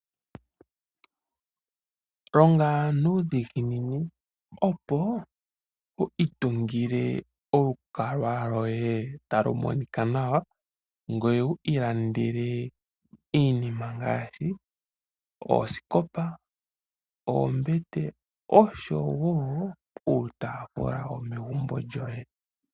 Longa nuudhiginini opo wu itungile olukwalwa lwoye talu monika nawa, ngoye wu ilandele iinima ngaashi; oosikopa, oombete, osho wo uutaafula womegumbo lyoye.